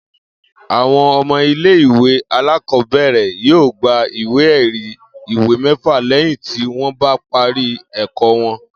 Àwo̩n o̩mo̩ ilé ìwé alákò̩ó̩bè̩rè̩ yóò gba ìwé è̩rí ìwé mé̩fà lé̩yìn tí wó̩n bá parí è̩kó̩ wo̩n